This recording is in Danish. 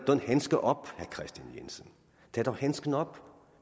handske op herre kristian jensen tag dog handsken op